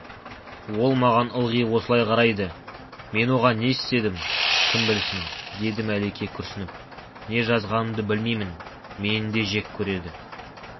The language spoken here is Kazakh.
ол маған ылғи осылай қарайды мен оған не істедім кім білсін деді мәлике күрсініп не жазғанымды білмеймін мені де жек көреді